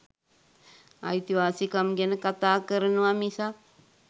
අයිතිවාසිකම් ගැන කතා කරනව මිසක්